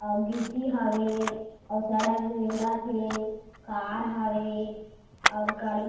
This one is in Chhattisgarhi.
अउ गिट्टी हावे अउ सड़क में रेगत हे कार हावे और गाड़ी--